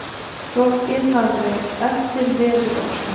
Rokkið hafið eftir veðurofsa